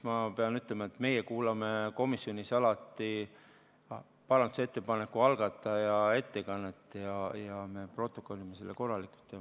Ma pean ütlema, et meie kuulame komisjonis alati parandusettepaneku algataja ettekannet ja protokollime selle korralikult.